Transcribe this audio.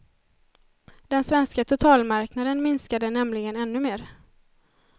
Den svenska totalmarknaden minskade nämligen ännu mer.